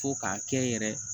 Fo k'a kɛ n yɛrɛ ye